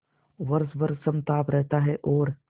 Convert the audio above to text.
वर्ष भर समताप रहता है और